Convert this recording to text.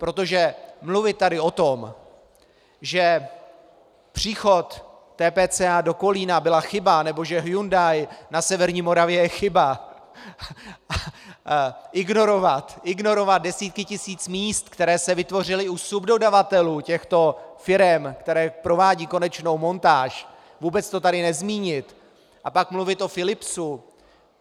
Protože mluvit tady o tom, že příchod TPCA do Kolína byla chyba nebo že Hyundai na severní Moravě je chyba, ignorovat desítky tisíc míst, která se vytvořila u subdodavatelů těchto firem, které provádějí konečnou montáž, vůbec to tady nezmínit a pak mluvit o Philipsu...